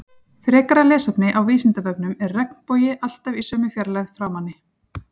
frekara lesefni á vísindavefnum er regnbogi alltaf í sömu fjarlægð frá manni